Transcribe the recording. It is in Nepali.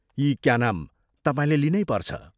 यी क्या नाम, तपाईंले लिनैपर्छ।